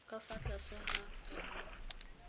ka fa tlase ga r